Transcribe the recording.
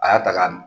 A y'a ta k'a dun